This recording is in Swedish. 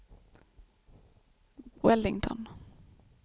Wellington